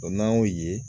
n'an y'o ye